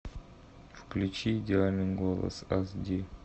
включи идеальный голос аш ди